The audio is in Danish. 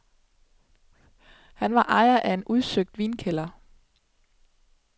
Han var ejeren af en udsøgt vinkælder.